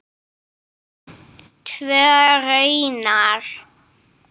Tvö raunar.